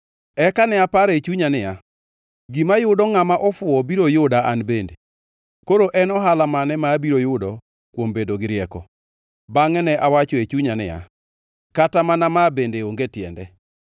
Eka ne aparo e chunya niya, “Gima yudo ngʼama ofuwo biro yuda an bende. Koro en ohala mane ma abiro yudo kuom bedo gi rieko?” Bangʼe ne awacho e chunya niya, “Kata mana ma bende onge tiende.”